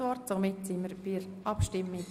Somit kommen wir zur Abstimmung.